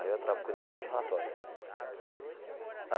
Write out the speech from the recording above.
Aí eu tra cuidar só de relatórios.